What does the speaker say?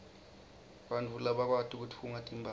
bantfu labakwati kutfunga timphahla